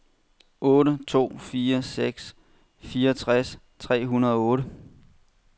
otte to fire seks fireogtres tre hundrede og otte